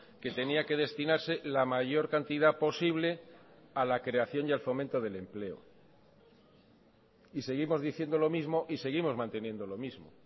que tenía que destinarse la mayor cantidad posible a la creación y al fomento del empleo y seguimos diciendo lo mismo y seguimos manteniendo lo mismo